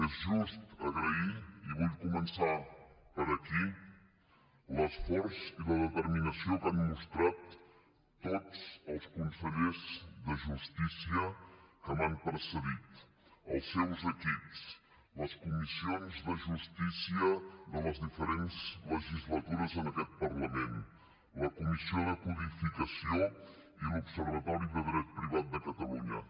és just agrair i vull començar per aquí l’esforç i la determinació que han mostrat tots els consellers de justícia que m’han precedit els seus equips les comissions de justícia de les diferents legislatures en aquest parlament la comissió de codificació i l’observatori de dret privat de catalunya